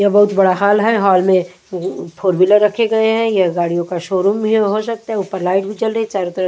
ये बहुत बड़ा हॉल है हॉल में फोर व्हीलर रखे गए हैं यह गाड़ियों का शोरूम हो सकता है ऊपर लाइट भी जल रही है।